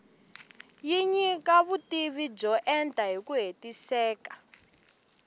yi nyika vutivi byo enta hiku hetiseka